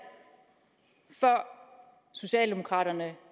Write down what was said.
før socialdemokraterne